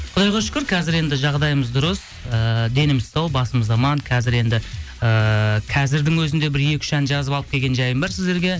құдайға шүкір қазір енді жағдайымыз дұрыс ыыы деніміз сау басымыз аман қазір енді ііі қазірдің өзінде бір екі үш ән жазып алып келген жайым бар сіздерге